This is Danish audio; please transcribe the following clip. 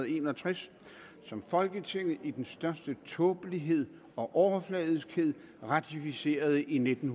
en og tres som folketinget i den største tåbelighed og overfladiskhed ratificerede i nitten